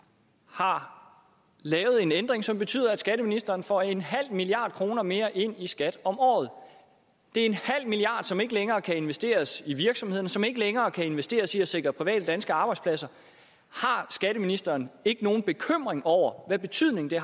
har lavet en ændring som betyder at skatteministeren får en halv milliard kroner mere ind i skat om året det er en halv milliard kr som ikke længere kan investeres i virksomhederne som ikke længere kan investeres i at sikre private danske arbejdspladser har skatteministeren ikke nogen bekymring over hvad betydning det